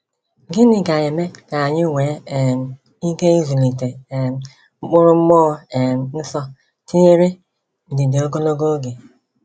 Gịnị ga-eme ka anyị nwee um ike ịzụlite um mkpụrụ Mmụọ um Nsọ, tinyere ndidi ogologo oge?